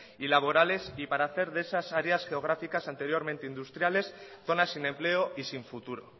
y laborales y para hacer de esas áreas geográficas anteriormente industriales zonas sin empleo y sin futuro